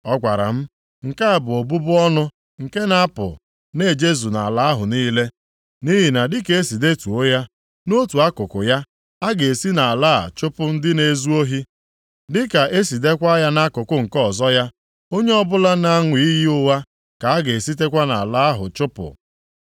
Ọ gwara m, “Nke a bụ ọbụbụ ọnụ nke na-apụ na-ejezu nʼala ahụ niile. Nʼihi na dịka e si detuo ya, nʼotu akụkụ ya, a ga-esi nʼala a chụpụ ndị na-ezu ohi. Dịka e si deekwa ya nʼakụkụ nke ọzọ ya, onye ọ bụla na-aṅụ iyi ụgha ka a ga-esitekwa nʼala ahụ chụpụ.